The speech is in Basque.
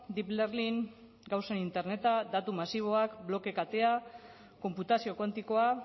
deep learning gauzen interneta datu masiboak bloke katea konputazio kuantikoa